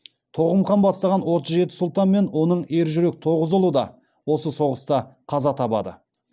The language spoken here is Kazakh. тоғым хан бастаған отыз жеті сұлтан мен оның ержүрек тоғыз ұлы да осы соғыста қаза табады